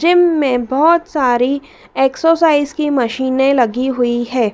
Gym में बहुत सारी एक्सरसाइज की मशीने लगी हुई है।